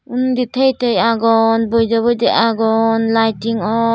uni teye teye agon boide boide agon lighting or.